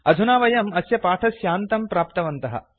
अधुना वयम् अस्य पाठस्यान्तं प्राप्तवन्तः